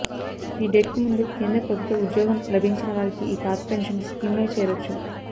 ఈ డేట్కు ముందు కేంద్ర ప్రభుత్వ ఉద్యోగం లభించిన వారికి ఈ పాత పెన్షన్ స్కీమ్లో చేరొచ్చు